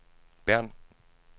Bern